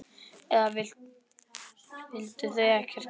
Eða vildu þau ekkert gera?